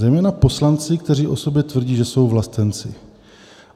Zejména poslanci, kteří o sobě tvrdí, že jsou vlastenci.